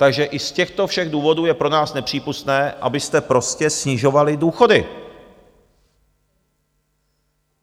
Takže i z těchto všech důvodů je pro nás nepřípustné, abyste prostě snižovali důchody.